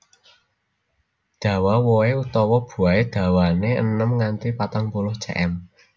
Dawa wohé utawa buahé dawané enem nganti patang puluh cm